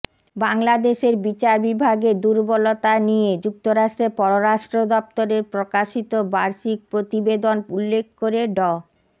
বাংলাদেশের বিচার বিভাগের দুর্বলতা নিয়ে যুক্তরাষ্ট্রের পররাষ্ট্র দপ্তরের প্রকাশিত বার্ষিক প্রতিবেদন উল্লেখ করে ড